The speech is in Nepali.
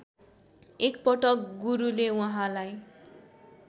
एकपटक गुरुले उहाँलाई